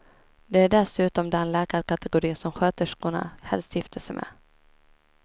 De är dessutom den läkarkategori som sköterskorna helst gifter sig med.